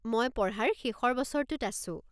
মই পঢ়াৰ শেষৰ বছৰটোত আছোঁ।